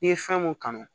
N'i ye fɛn mun kanu